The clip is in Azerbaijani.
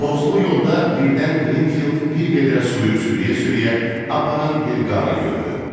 Tozlu yolda birdən Qrinfield bir vedrə suyu sürüyə-sürüyə aparan bir qarı gördü.